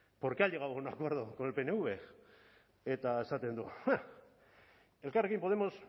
por qué ha llegado a un acuerdo con el pnv eta esaten du ja elkarrekin podemos